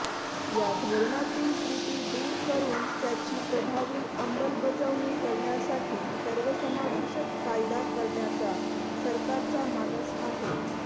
या धोरणातील त्रुटी दूर करून त्याची प्रभावी अंमलबजावणी करण्यासाठी सर्वसमावेशक कायदा करण्याचा सरकारचा मानस आहे